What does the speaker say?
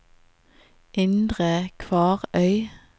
Indre Kvarøy